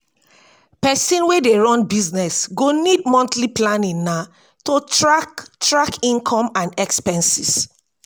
pesin wey dey run business go need monthly planning na to track track income and expenses.